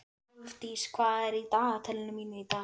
Hrólfdís, hvað er í dagatalinu mínu í dag?